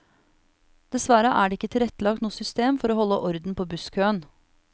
Dessverre er det ikke tilrettelagt noe system for å holde orden på busskøen.